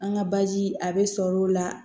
An ka baji a bɛ sɔr'o la